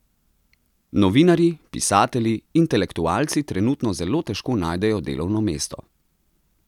Novinarji, pisatelji, intelektualci trenutno zelo težko najdejo delovno mesto.